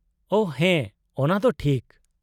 -ᱳᱺ ᱦᱮᱸ, ᱚᱱᱟ ᱫᱚ ᱴᱷᱤᱠ ᱾